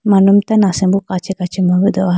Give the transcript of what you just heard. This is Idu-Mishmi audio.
manum tando asimbo kachi kachi bo bi dehowa.